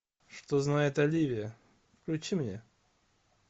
что знает оливия включи мне